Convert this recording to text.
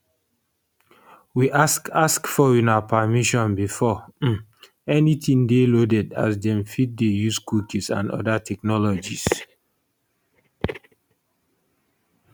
we ask ask for una permission before um anytin dey loaded as dem fit dey use cookies and oda technologies